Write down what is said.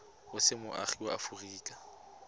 o se moagi wa aforika